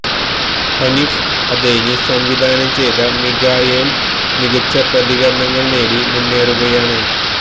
ഹനീഫ് അദേനി സംവിധാനം ചെയ്ത മിഖായേല് മികച്ച പ്രതികരണങ്ങള് നേടി മുന്നേറുകയാണ്